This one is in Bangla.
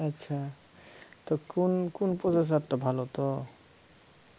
আচ্ছা তো কোন কোন processor টা ভালো তো